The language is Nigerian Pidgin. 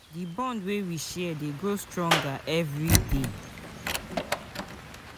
Di bond wey we share dey grow stronger every day.